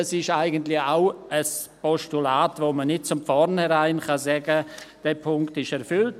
Das ist eigentlich auch ein Postulat, da kann man nicht von vornherein sagen, dieser Punkt sei erfüllt.